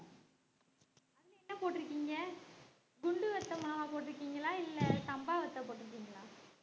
என்ன போட்டுருக்கீங்க குண்டு வத்தல் மாவை போட்டிருக்கீங்களா இல்லை சம்பா வத்தல் போட்டிருக்கீங்களா